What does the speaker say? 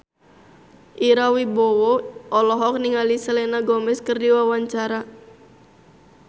Ira Wibowo olohok ningali Selena Gomez keur diwawancara